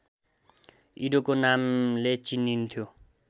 इडोको नामले चिनिन्थ्यो